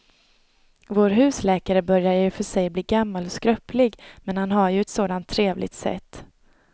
Vår husläkare börjar i och för sig bli gammal och skröplig, men han har ju ett sådant trevligt sätt!